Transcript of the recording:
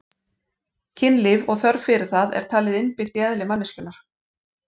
Kynlíf og þörf fyrir það er talið innbyggt í eðli manneskjunnar.